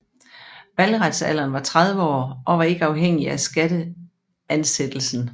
Valgretsalderen var 30 år og var ikke afhængig af skatteansættelsen